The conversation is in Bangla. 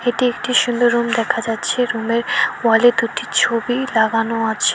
এটি একটি সুন্দর রুম দেখা যাচ্ছে রুমের ওয়ালে দুটি ছবি লাগানো আছে।